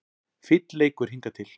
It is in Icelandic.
Fínn leikur hingað til